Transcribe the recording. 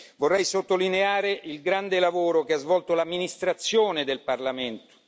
Vorrei sottolineare il grande lavoro che ha svolto l'amministrazione del Parlamento.